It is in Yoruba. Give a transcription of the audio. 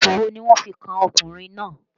Ẹ̀sùn wo ni wọ́n fi kan ọkùnrin náà